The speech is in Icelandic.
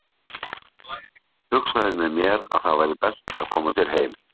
Hugsaði með mér að það væri best að koma sér heim.